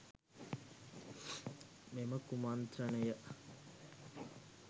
මෙම කුමන්ත්‍රණය